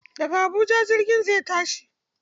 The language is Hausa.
Daga Habuja jirgin zai tashi.